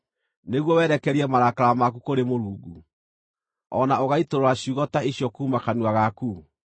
nĩguo werekerie marakara maku kũrĩ Mũrungu, o na ũgaitũrũra ciugo ta icio kuuma kanua gaku?